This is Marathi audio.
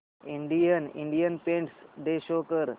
इंडियन इंडिपेंडेंस डे शो कर